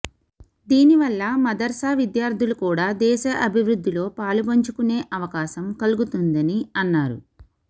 దీని వల్ల మదర్సా విద్యార్థులు కూడ దేశ అభివృద్దిలో పాలుపంచుకునే అవకాశం కల్గుతుందని అన్నారు